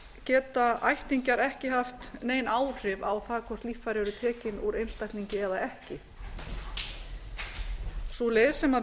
geta ættingjar ekki haft nein áhrif á það hvort líffæri eru tekin úr einstaklingi eða ekki sú leið sem við